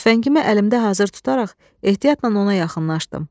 Tüfəngimi əlimdə hazır tutaraq ehtiyatla ona yaxınlaşdım.